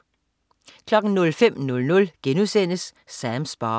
05.00 Sams bar*